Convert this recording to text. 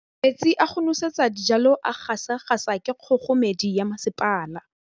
Metsi a go nosetsa dijalo a gasa gasa ke kgogomedi ya masepala.